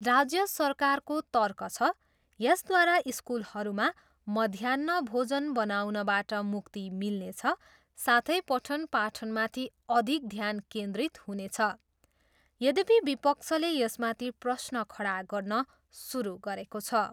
राज्य सरकारको तर्क छ, यसद्वारा स्कुलहरूमा मध्याह्न भोजन बनाउनबाट मुक्ति मिल्नेछ साथै पठन पाठनमाथि अधिक ध्यान केन्द्रित हुनेछ। यद्यपि विपक्षले यसमाथि प्रश्न खडा गर्न सुरु गरेको छ।